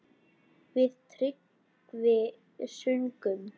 Við Tryggvi sungum